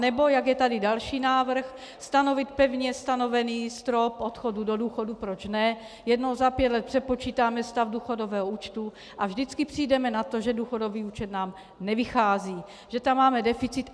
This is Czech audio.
Anebo, jak je tady další návrh, stanovit pevně stanovený strop odchodu do důchodu, proč ne, jednou za pět let přepočítáme stav důchodového účtu a vždycky přijdeme na to, že důchodový účet nám nevychází, že tam máme deficit.